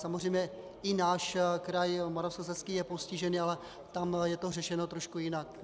Samozřejmě i náš kraj Moravskoslezský je postižený, ale tam je to řešeno trošku jinak.